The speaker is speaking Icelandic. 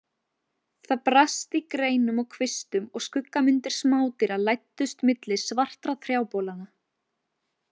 Það brast í greinum og kvistum og skuggamyndir smádýra læddust milli svartra trjábolanna.